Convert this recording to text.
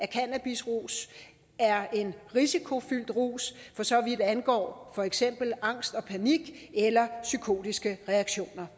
cannabisrus er en risikofyldt rus for så vidt angår for eksempel angst og panik eller psykotiske reaktioner